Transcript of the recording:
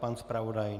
Pan zpravodaj?